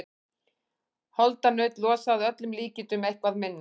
Holdanaut losa að öllum líkindum eitthvað minna.